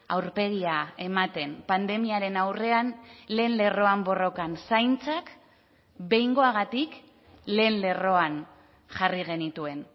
aurpegia ematen pandemiaren aurrean lehen lerroan borrokan zaintzak behingoagatik lehen lerroan jarri genituen